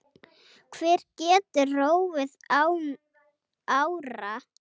Hver getur róið án ára?